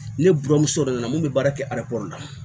Ne buramuso nana mun bɛ baara kɛ arakɔrɔ la